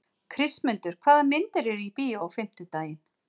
Kristmundur, hvaða myndir eru í bíó á fimmtudaginn?